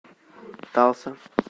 талса